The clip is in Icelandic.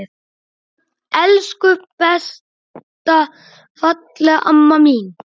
Elsku besta fallega amma mín.